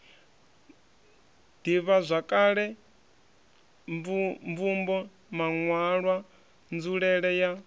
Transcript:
ḓivhazwakale mvumbo maṋwalwa nzulele ya